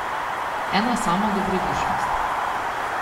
Ena sama dobrodušnost.